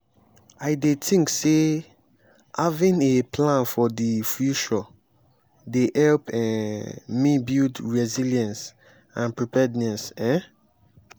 i dey think say having a plan for di future dey help um me build resilience and preparedness. um